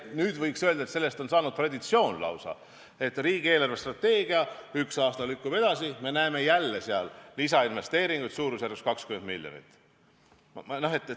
Nüüd võiks öelda, et sellest on saanud lausa traditsioon, et riigi eelarvestrateegia lükkub ühe aasta võrra edasi, me näeme jälle seal lisainvesteeringuid suurusjärgus 20 miljonit.